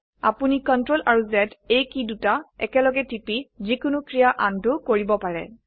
আপোনি CTRL আৰু Z এই কী দুটি একেলগে টিপি যিকোনো ক্ৰীয়া আনডো কৰিব পাৰে